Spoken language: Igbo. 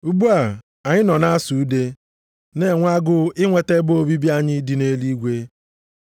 Ugbu a anyị nọ na-asụ ude, na-enwe agụụ inweta ebe obibi anyị dị nʼeluigwe.